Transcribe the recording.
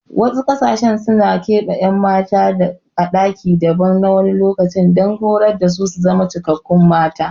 Wasu ƙasashen suna keɓe ƴan mata a ɗaki daban na wani lokaci don horar dasu su zama cikakkun mata